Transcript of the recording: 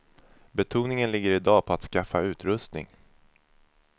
Betoningen ligger i dag på att skaffa utrustning.